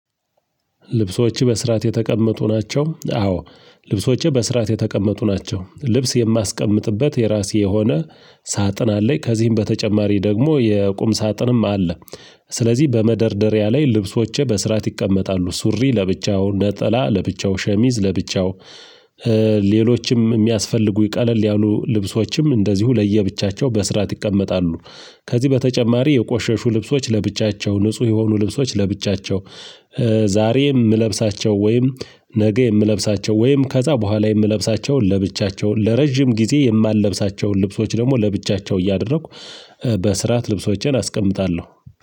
ልብሶችህ በስርዓት የተቀመጡ ናቸው? አዎ ልብሶቼ በስርዓት የተቀመጡ ናቸው። ልብስ የማስቀምጥበት የራሴ የሆነ ሳጥን አለኝ ከዚህም በተጨማሪ ደግሞ የቁም ሳጥንም አለ። ስለዚህ በመደርደሪያ ላይ ልብሶቼ በስርዓት ይቀመጣሉ ሱሪ ለብቻው ነጠላ ለብቻው ሸሚዝ ለብቻው ሌሎችም የሚያስፈልጉ ቀለል ያሉ ልብሶችም እንደዚሁ ለየብቻቸው በስርዓት ይቀመጣሉ። ከዚህ በተጨማሪ የቆሸሹ ልብሶች ለብቻቸው ንጹህ የሆኑ ልብሶች ለብቻቸው። ዛሬም የምለብሳቸው ወይም ነገ የምለብሳቸው ወይም ከዛ በኋላ የምለብሳቸውን ለብቻቸውን ለረጅም ጊዜ የማልለብሳቸውን ልብሶች ደግሞ ለብቻቸው እያደረኩ በስርዓት ልብሶቼን አስቀምጣለሁ።